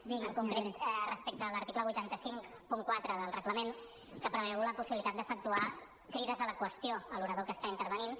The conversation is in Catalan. en concret respecte a l’article vuit cents i cinquanta quatre del reglament que preveu la possibilitat d’efectuar crides a la qüestió a l’orador que està intervenint